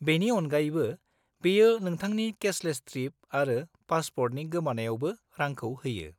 -बेनि अनगायैबो, बेयो नोंथांनि केससेल ट्रिप आरो पासपर्टनि गोमानायावबो रांखौ होयो।